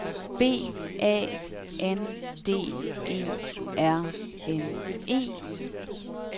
B A N D E R N E